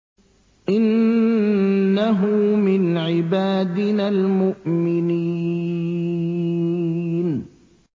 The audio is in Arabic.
إِنَّهُ مِنْ عِبَادِنَا الْمُؤْمِنِينَ